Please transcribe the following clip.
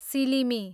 सिलिमी